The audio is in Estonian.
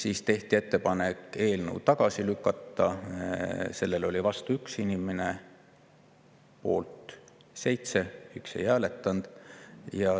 Siis tehti ettepanek eelnõu tagasi lükata, selle vastu oli 1 inimene, poolt oli 7 ja 1 ei hääletanud.